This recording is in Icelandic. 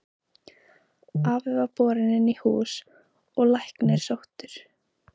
Afi var borinn inn í hús og læknir sóttur.